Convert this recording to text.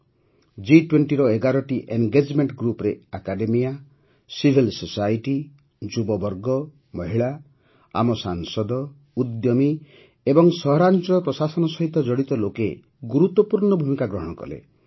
ଜି୨୦ର ୧୧ଟି ଏନ୍ଗେଜମେଂଟ୍ ଗ୍ରୁପରେ academia civil society ଯୁବବର୍ଗ ମହିଳା ଆମ ସାଂସଦ ଉଦ୍ୟମୀ ଏବଂ ସହରାଂଚଳ ପ୍ରଶାସନ ସହିତ ଜଡ଼ିତ ଲୋକେ ଗୁରୁତ୍ୱପୂର୍ଣ୍ଣ ଭୂମିକା ଗ୍ରହଣ କଲେ